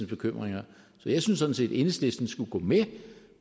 bekymringer så jeg synes sådan set at enhedslisten skulle gå med